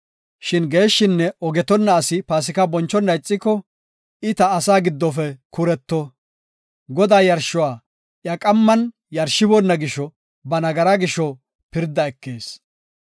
Shin geeshshinne ogetonna as Paasika bonchona ixiko, I ta asaa giddofe kuretto. Godaa yarshuwa iya qamman yarshiboona gisho ba nagaraa gisho pirda ekees.